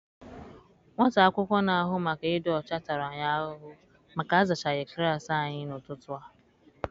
Nwata akwụkwọ na-ahụ maka ịdị ọcha tara anyị ahụhụ maka a zachaghị klaasị anyị n'ụtụtụ a.